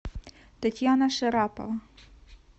татьяна шарапова